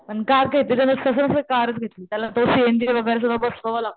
पण कार घेतली त्याला सहन कारच घेतली त्याला तो सी एन जी वगैरे सगळं बसवावं लागतो.